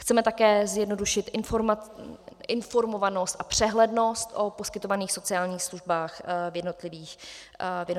Chceme také zjednodušit informovanost a přehlednost o poskytovaných sociálních službách v jednotlivých krajích.